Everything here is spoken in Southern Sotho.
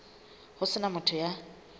ho se na motho ya